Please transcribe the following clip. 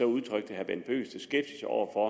udtrykte herre bent bøgsted skepsis over for